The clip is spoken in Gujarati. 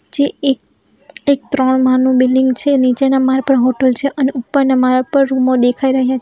જે એક એક ત્રણ માળનું બિલ્ડીંગ છે નીચેના માળ પર હોટલ છે અને ઉપરના માળા પર રૂમો દેખાઈ રહ્યા છે.